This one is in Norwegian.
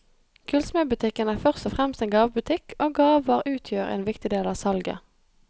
Gullsmedbutikken er først og fremst en gavebutikk, og gaver utgjør en viktig del av salget.